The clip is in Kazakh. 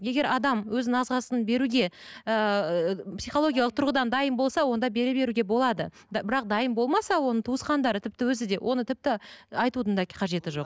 егер адам өзінің ағзасын беруге ыыы психологиялық тұрғыдан дайын болса онда бере беруге болады бірақ дайын болмаса оның туысқандары тіпті өзі де оны тіпті айтудың да қажеті жоқ